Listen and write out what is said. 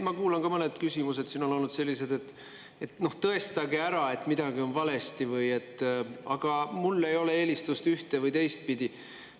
Ma kuulan ka ja mõned küsimused on olnud sellised, et tõestage ära, et midagi on valesti, et mul ei ole eelistust ühte- või teistpidi.